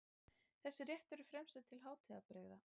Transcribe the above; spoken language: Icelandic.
Þessi réttur er fremur til hátíðabrigða.